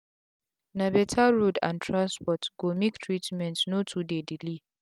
na beta road and transport go make treatment no too dey delay